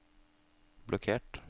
blokkert